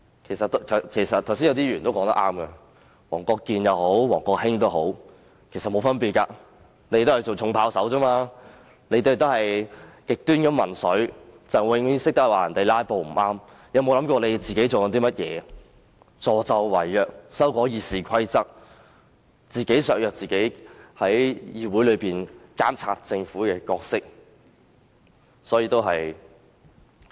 剛才有議員說得很正確，不管是黃國健議員或王國興，其實沒有分別，他們都是扮演"重炮手"，同樣是極端民粹，只懂指責別人"拉布"不正確，但卻沒有想過自己在做些甚麼——助紂為虐，修訂《議事規則》，自我削弱議會監察政府的功能。